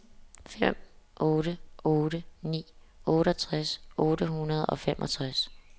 fem otte otte ni otteogtres otte hundrede og femogtres